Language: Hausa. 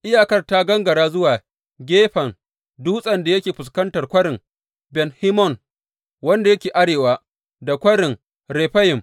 Iyakar ta gangara zuwa gefen dutsen da yake fuskantar Kwarin Ben Hinnom, wanda yake arewa da Kwarin Refayim.